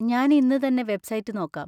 ഞാൻ ഇന്ന് തന്നെ വെബ്സൈറ്റ് നോക്കാം.